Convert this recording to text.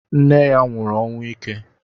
Nne ya nwụrụ ọnwụ ike.